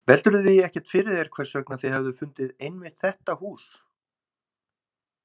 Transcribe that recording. Veltirðu því ekkert fyrir þér hvers vegna þið hefðuð fundið einmitt þetta hús?